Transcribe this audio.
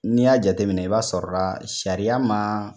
N'i y'a jateminɛ i b'a sɔrɔ la sariya man